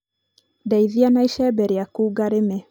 ndeithia na icembe rĩaku ngarĩme